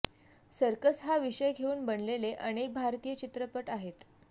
circus हा विषय घेऊन बनलेले अनेक भारतीय चित्रपट आहेत